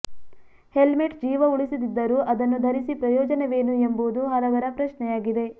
helmet ಜೀವ ಉಳಿಸದಿದ್ದರೂ ಅದನ್ನು ಧರಿಸಿ ಪ್ರಯೋಜನವೇನು ಎಂಬುದು ಹಲವರ ಪ್ರಶ್ನೆಯಾಗಿದೆ